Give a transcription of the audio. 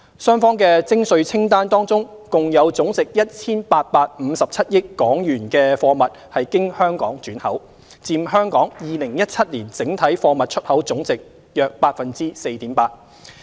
雙方的徵稅清單當中共有總值 1,857 億港元的貨物經香港轉口，佔香港2017年整體貨物出口總貨值約 4.8%。